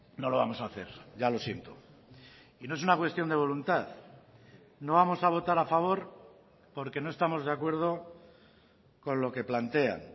no lo vamos a hacer ya lo siento y no es una cuestión de voluntad no vamos a votar a favor porque no estamos de acuerdo con lo que plantean